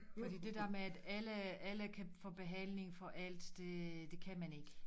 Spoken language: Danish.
Fordi det der med at alle alle kan få behandling for alt det det kan man ikke